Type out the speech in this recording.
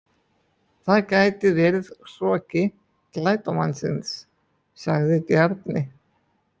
Það gæti verið hroki glæpamannsins, sagði Bjarni.